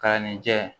Kalan nin jɛ